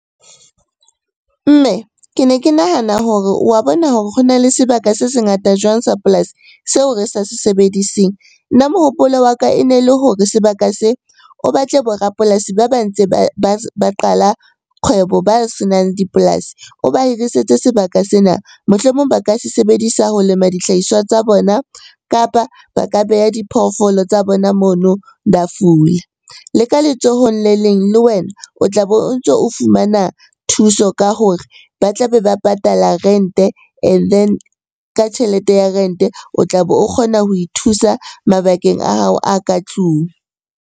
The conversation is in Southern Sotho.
Mme ke ne ke nahana hore wa bona hore ho na le sebaka se se ngata jwang sa polasi seo re sa se sebediseng? Nna mohopolo wa ka e ne le hore sebaka se o batle bo rapolasi ba ba ntse ba qala kgwebo, ba senang dipolasi o ba hirisetse sebaka sena. Mohlomong ba ka se sebedisa ho lema dihlahiswa tsa bona, kapa ba ka beha diphoofolo tsa bona mono di a fula. Le ka letsohong le leng le wena o tla be o ntso o fumana thuso ka hore ba tla be ba patala rente and then, ka tjhelete ya rente o tla be o kgona ho ithusa mabakeng a hao a ka tlung.